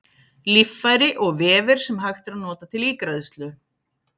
Líffæri og vefir sem hægt er að nota til ígræðslu.